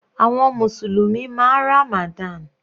Àwọn mùsùlùmí máa ń Ramadan.